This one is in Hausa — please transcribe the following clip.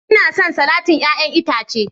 Ina son salatin 'ya'yan itace